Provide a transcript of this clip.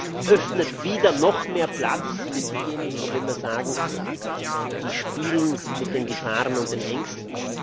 Das öffnet wieder noch mehr Platz für diejenigen, von denen wir immer sagen, die spielen mit den Gefahren und den Ängsten.